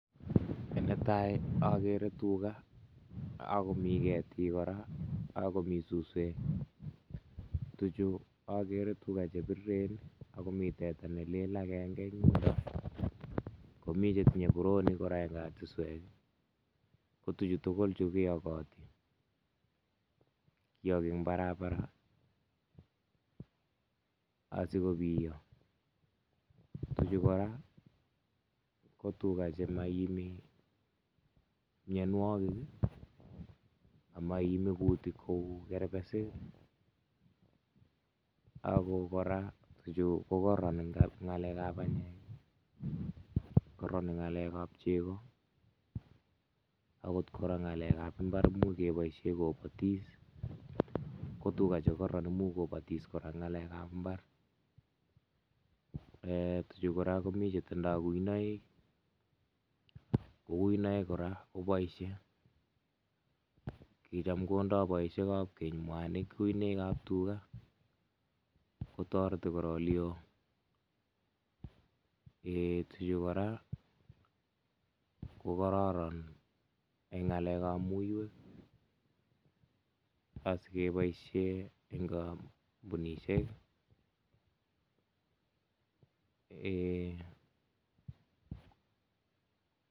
Ne tai agere tuga, akumi ketik kora akomi suswek, tuchu agere tuga che biriren akumi teta ne lel agenge eng yo .komi che tinye boroonik kora eng katiswek, ko tichu tugul ke yokoti, ki yoki eng barabara asikobiyo, tuchu kora ko tuga che maiimi mianwokik, amaime kuutik kou kerbesik, aku kora tuchu ko koron eng ng'alekab banyek, kororon eng ng'alekab chego, akot kora ng'alekab mbar much keboisie ko botis, ko tuga che kororon amu kobotis kora eng ng'alekab mbar. um tuchu kora komi che tindoi kuinoik, ko kuinoik kora ko boisie, ki cham kundo boisiekab keny mwanik kuinoikab tuga. kotoreti korolio um tuchu kora ko kororon eng ng'alekab muiwek si ke boisie eng kampunisiek um.